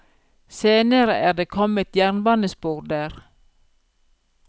Senere er det kommet jernbanespor der.